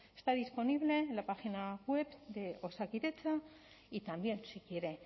está disponible en la página web de osakidetza y también si quiere